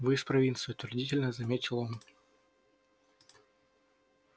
вы из провинции утвердительно заметил он